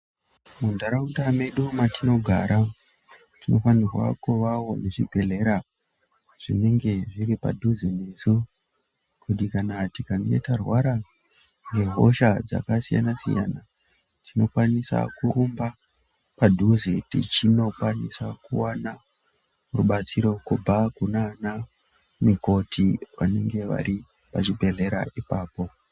Munharaunda mwedu mwetinogara tinofanirwa kuvawo nezvibhehlera zviinenge zviripadhuze nesu kuitira kuti tikange twarwara ne hosha dzakasiyana siyana tinokwanisa kurumba padhuze tichikwanisa kuwana rubatsiro kubva kunana mukoti vanenge varipo pachibhehlera ipapo.